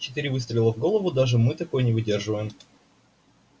четыре выстрела в голову даже мы такое не выдерживаем